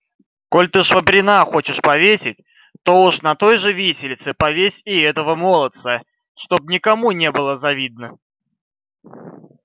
коль ты швабрина хочешь повесить то уж на той же виселице повесь и этого молодца чтоб никому не было завидно